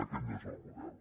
aquest no és el model